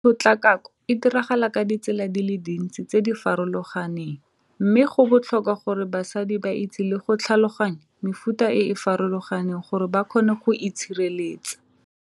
Tshotlakako e diragala ka ditsela di le dintsi tse di farologaneng mme go botlhokwa gore basadi ba itse le go tlhaloganya mefuta e e farologaneng gore ba kgone go itshireletsa.